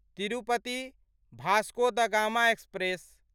Tirupati Vasco da Gama express